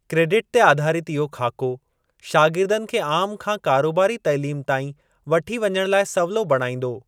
Credit ते आधारित इहो ख़ाको, शागिर्दनि खे आम खां कारोबारी तालीम ताईं वठी वञण लाइ सवलो बणाईंदो।